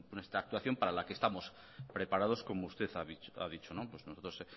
nuestra actuación para la que estamos preparados como usted ha dicho nosotros